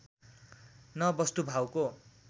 न बस्तुभाउको